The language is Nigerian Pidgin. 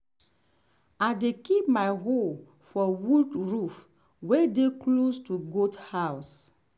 i dey keep my hoe for wood roof way dey close to goat house.